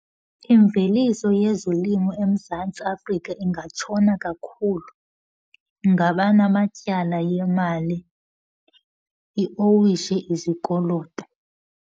Imveliso yezolimo eMzantsi Afrika ingatshona kakhulu ngabanamatyala yemali, iowishe izikoloto.